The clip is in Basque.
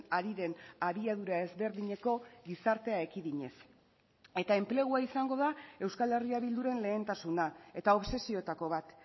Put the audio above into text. ari den abiadura ezberdineko gizartea ekidinez eta enplegua izango da euskal herria bilduren lehentasuna eta obsesioetako bat